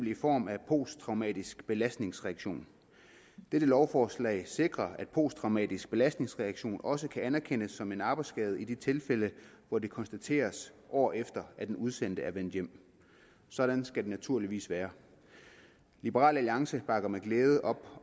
i form af posttraumatisk belastningsreaktion dette lovforslag sikrer at posttraumatisk belastningsreaktion også kan anerkendes som en arbejdsskade i de tilfælde hvor den konstateres år efter at den udsendte er vendt hjem sådan skal det naturligvis være liberal alliance bakker med glæde op